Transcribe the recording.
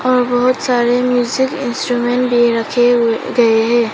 और बहुत सारे म्यूजिक इंस्ट्रूमेंट भी रखे हुए गए है।